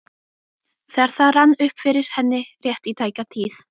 þegar það rann upp fyrir henni, rétt í tæka tíð.